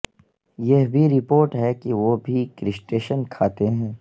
یہ بھی رپورٹ ہے کہ وہ بھی کرسٹشین کھاتے ہیں